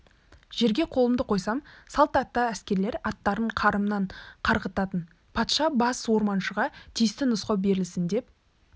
жерге қолымды қойсам салт атты әскерлер аттарын қарымнан қарғытатын патша бас орманшыға тиісті нұсқау берілсін деп